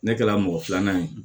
Ne kɛra mɔgɔ filanan ye